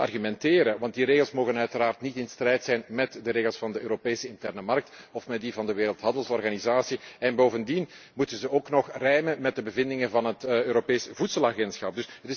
De regels mogen immers niet in strijd zijn met de regels van de Europese interne markt of met die van de Wereldhandelsorganisatie en bovendien moeten ze ook nog rijmen met de bevindingen van het Europees voedselagentschap.